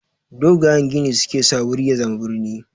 Dogayen gini su ke sa wuri ya zama brini.